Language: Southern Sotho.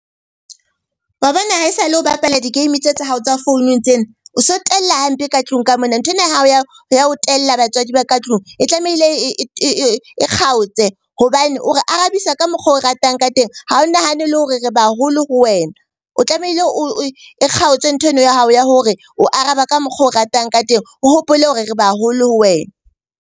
Wa bona ha esale o bapala di-game tse tsa hao tsa founung tsena, o so tella hampe ka tlung ka mona. Nthwena ya hao ya ho tella batswadi ba ka tlung e tlamehile e kgaotse hobane o re arabisa ka mokgo o ratang ka teng. Ha o nahane le hore re ba haholo ho wena, o tlamehile e kgaotswe ntho eno ya hao ya hore o araba ka mokgo o ratang ka teng. O hopole hore re ba haholo ho wena.